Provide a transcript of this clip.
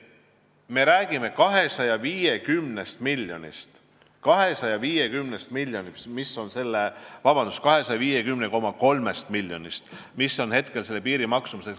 Me räägime 250,3 miljonist, mis on hetkel see maksumus.